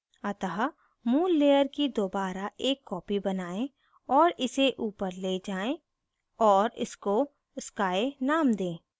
अतः मूल layer की दोबारा एक copy बनायें और इसे ऊपर so जाएँ और इसको sky name दें